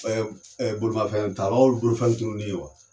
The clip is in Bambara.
Ɛ ɛ bolimafɛn talaw bolofɛn tununi wa